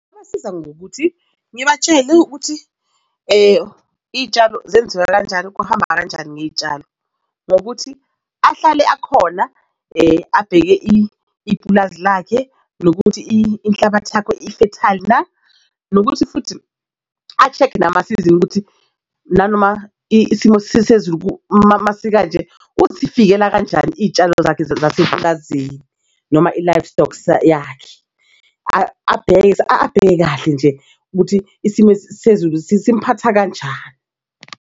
Kungasiza ngokuthi ngibatshele ukuthi iy'tshalo zenziwa kanjani, kuhamba kanjani ngey'tshalo. Ngokuthi ahlale akhona abheke ipulazi lakhe, nokuthi inhlabathi yakho ifethayili na? Nokuthi futhi a-check-e namasizini ukuthi nanoma isimo sezulu masikanje ukuzivikela kanjani izitshalo zakhe zaseplazini noma i-live stocks yakhe. Abheke abheke kahle nje ukuthi isimo sezulu simphatha kanjani.